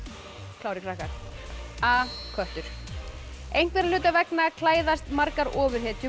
klárir krakkar a köttur einhverja hluta vegna klæðast margar ofurhetjur